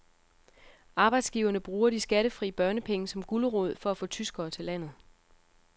Arbejdsgiverne bruger de skattefri børnepenge som gulerod for at få tyskere til landet.